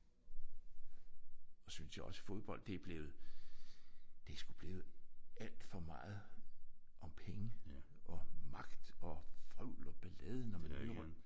Og så synes jeg også fodbold det er blevet det er sgu blevet alt for meget om penge og magt og vrøvl og ballade når man hører om